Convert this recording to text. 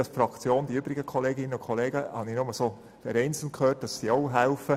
Ich weiss nicht, was die übrige Fraktion tut, ich habe aber vereinzelt gehört, dass sie auch helfen.